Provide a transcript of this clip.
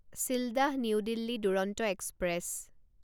Sealdah new Delhi Duronto express